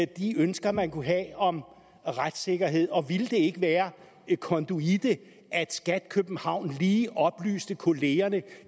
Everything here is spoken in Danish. de ønsker man kunne have om retssikkerhed og ville det ikke være konduite at skat københavn lige oplyste kollegaerne